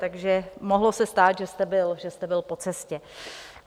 Takže se mohlo stát, že jste byl po cestě.